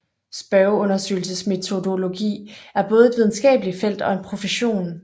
Spørgeundersøgelsesmetodologi er både et videnskabeligt felt og en profession